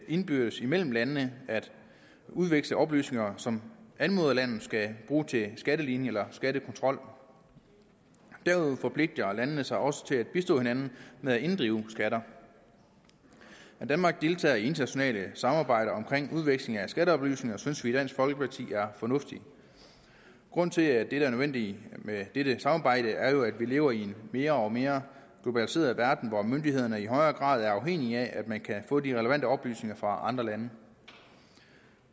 indbyrdes mellem landene at udveksle oplysninger som anmoderlandet skal bruge til skatteligning eller skattekontrol derudover forpligter landene sig også til at bistå hinanden med at inddrive skatter at danmark deltager i et internationalt samarbejde omkring udveksling af skatteoplysninger synes vi i dansk folkeparti er fornuftigt grunden til at det er nødvendigt med dette samarbejde er jo at vi lever i en mere og mere globaliseret verden hvor myndighederne i højere grad er afhængige af at man kan få de relevante oplysninger fra andre lande